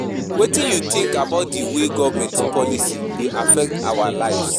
Wetin you think about di way government policies dey affect our lives?